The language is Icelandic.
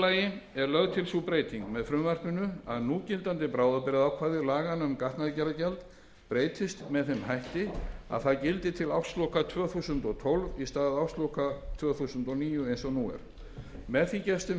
lagi er lögð til sú breyting með frumvarpinu að núgildandi bráðabirgðaákvæði laganna um gatnagerðargjald breytist með þeim hætti að það gildi til ársloka tvö þúsund og tólf í stað ársloka tvö þúsund og níu eins og nú er með því gefst þeim